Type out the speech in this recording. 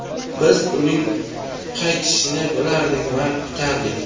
Biz uning qaytishini bilardik va kutardik.